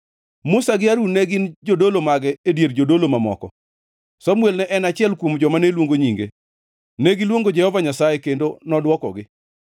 Musa gi Harun ne gin jodolo mage e dier jodolo mamoko, Samuel ne en achiel kuom joma ne luongo nyinge; negiluongo Jehova Nyasaye kendo nodwokogi.